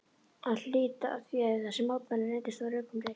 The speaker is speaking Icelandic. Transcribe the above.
að hlíta því ef þessi mótmæli reyndust á rökum reist.